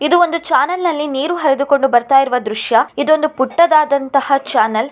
ಇದು ಒಂದು ಚಾನಲ್ನಲ್ಲಿ ನೀರು ಹರಿದುಕೊಂಡು ಬರ್ತಾ ಇರುವಂತ ದೃಶ್ಯ ಇದು ಒಂದು ಪುಟ್ಟದಾದಂತ ಚಾನಲ್ .